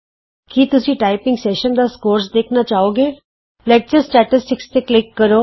ਕੀ ਤੁਸੀਂ ਆਪਣੇ typing session ਦਾ ਨੰਬਰ ਦੇਖਣਾ ਚਾਹੋ ਗੇ ਲੈਕਚਰ ਅੰਕੜੇ ਤੇ ਕਲਿਕ ਕਰੋ